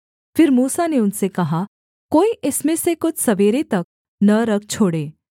फिर मूसा ने उनसे कहा कोई इसमें से कुछ सवेरे तक न रख छोड़े